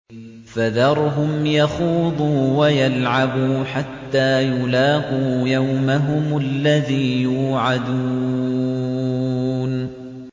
فَذَرْهُمْ يَخُوضُوا وَيَلْعَبُوا حَتَّىٰ يُلَاقُوا يَوْمَهُمُ الَّذِي يُوعَدُونَ